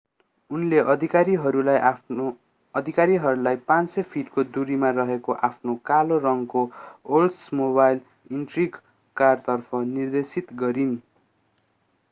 उनले अधिकारीहरूलाई 500 फिटको दुरीमा रहेको आफ्नो कालो रङकोओल्ड्समोबाइल इन्ट्रिग कारतर्फ निर्देशित गरिन्